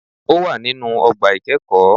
Ó wà nínú ogbà ìkẹ́ẹ̀kóó